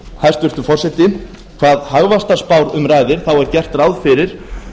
hæstvirtur forseti hvað hagvaxtarspár um ræðir er gert ráð fyrir